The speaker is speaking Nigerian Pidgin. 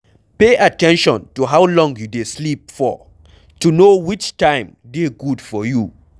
Pay at ten tion to how long you dey sleep for to know which time dey good for you